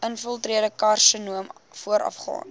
infiltrerende karsinoom voorafgaan